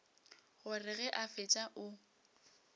gore ge a fetša o